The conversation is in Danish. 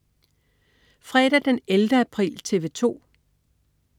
Fredag den 11. april - TV 2: